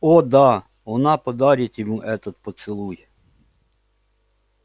о да она подарит ему этот поцелуй